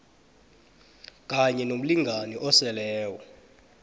kanye nomlingani oseleko